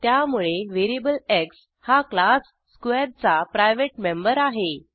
त्यामुळे variable X हा class square चा प्रायव्हेट मेंबर आहे